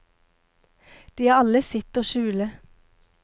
De har alle sitt å skjule.